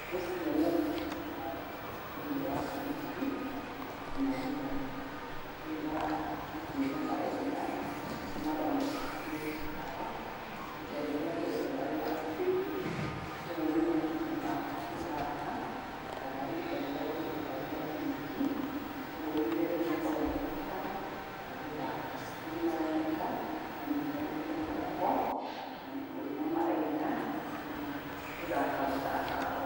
Nĩ cĩana ciĩ kĩharo thĩiniĩ-inĩ wa mburĩki magĩthaka . Rĩu mara nĩ kũina maraina nĩguo maroneka me kĩharo ihinda rĩrĩa tũaugaga rĩa PE, ũguo nĩ mahinda ma gũthaka kana ihinda rĩrĩa tũĩtaga rĩa mburĩki. Kuoguo ihinda rĩu makoragwo me kĩharo magĩthaka. Rĩu nĩmaroneka manyitanĩte moko na nĩ kũina maraina kana gũthaka mũthako o